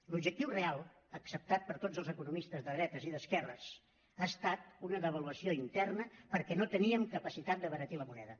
l’objectiu real acceptat per tots els economistes de dretes i d’esquerres ha estat una devaluació interna perquè no teníem capacitat d’abaratir la moneda